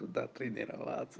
туда тренироваться